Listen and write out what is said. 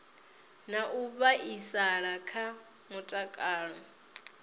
na u vhaisala kha mutakalo